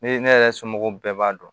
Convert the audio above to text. Ne ne yɛrɛ somɔgɔw bɛɛ b'a dɔn